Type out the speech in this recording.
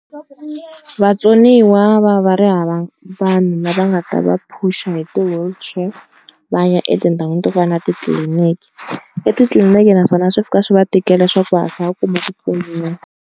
Vatsoniwa va va ri hava vanhu lava nga ta va phusha hi ti-wheelchair va ya etindhawini to fana na titliliniki. Etitliliniki naswona swi fika swi va tikela swa ku va hatlisa va kuma ku pfuniwa.